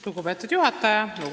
Lugupeetud juhataja!